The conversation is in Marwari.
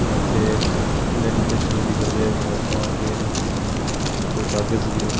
लेमिनेशन भी करते हुए फोटो गेम--